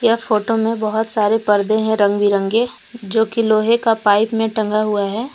यह फोटो में बहुत सारे पर्दे हैं रंग बिरंगे जो कि लोहे का पाइप में टंगा हुआ है।